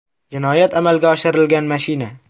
Jinoyat amalga oshirilgan mashina.